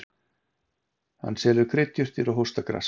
Hann selur kryddjurtir og hóstagras.